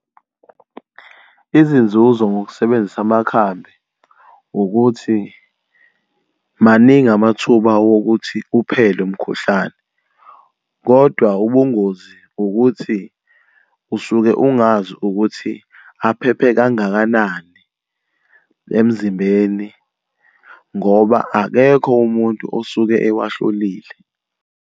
Izinzuzo ngokusebenzisa amakhambi ukuthi maningi amathuba wokuthi uphele umkhuhlane, kodwa ubungozi ukuthi usuke ungazi ukuthi aphephe kangakanani emzimbeni ngoba akekho umuntu osuke ewahlolile.